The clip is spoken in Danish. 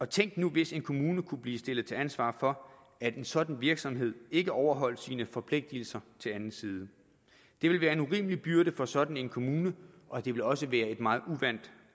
tænk nu hvis en kommune kunne blive stillet til ansvar for at en sådan virksomhed ikke overholdt sine forpligtelser til anden side det ville være en urimelig byrde for sådan en kommune og det ville også være et meget uvant